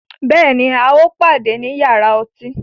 Bẹ́ẹ̀ni, à o pàdẹ̀ ní yàrà ọ̀tí